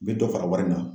U bɛ dɔ fara wari kan